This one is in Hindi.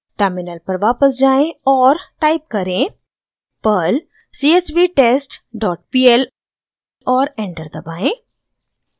टर्मिनल पर वापस जाएँ और टाइप करें: perl csvtestpl और एंटर दबाएं